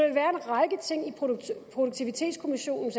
produktivitetskommissionens